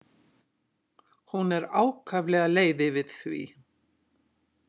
Hún er ákaflega leið yfir því.